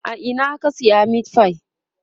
a Ina ka saya meatfie?